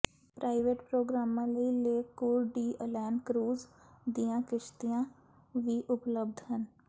private ਪ੍ਰੋਗਰਾਮਾਂ ਲਈ lake Coeur d'Alene cruise ਦੀਆਂ ਕਿਸ਼ਤੀਆਂ ਵੀ ਉਪਲਬਧ ਹਨ